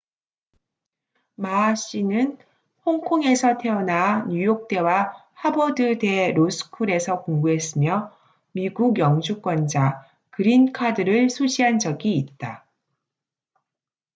마ma 씨는 홍콩에서 태어나 뉴욕대와 하버드대 로스쿨에서 공부했으며 미국 영주권자 '그린카드'를 소지한 적이 있다